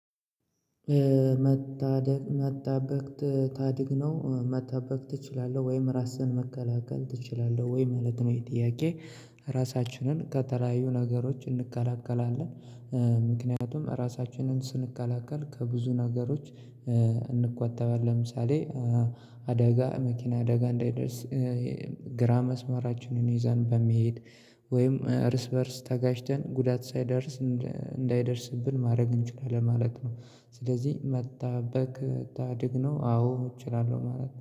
መጣበቅ መጣበቅ ታድግ ነው መጣበቅ ትችላለህ ወይም ራስህን መከላከል ትችላለህ ወይ ማለት ነው ይሄ ጥያቄ? ራሳችንን ከተለያዩ ነገሮች እንከላከላለን። ምክንያቱም እራሳችንን ስንከላከል ከብዙ ነገሮች። እንቆጠባሌን ለምሳሌ። አደጋ መኪና አደጋ እንዳይደርስ። ግራ መስመራችንን ይዛን በመሄድ ወይም እርስ በእርስ ተጋጭተን ጉዳት ሳይደርስ እንዳይደርስብን ማድረግ እንችላለን ማለት ነው። ስለዚህ መጣበቅ ታድግ ነው አዎ እችላለሁ ማለት